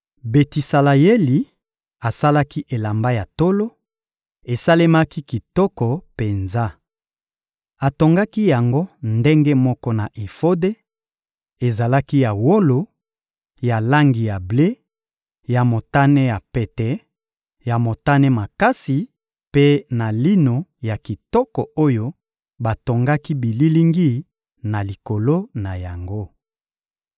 Betisaleyeli asalaki elamba ya tolo; esalemaki kitoko penza. Atongaki yango ndenge moko na efode: ezalaki ya wolo, ya langi ya ble, ya motane ya pete, ya motane makasi mpe na lino ya kitoko oyo batongaki bililingi na likolo na yango.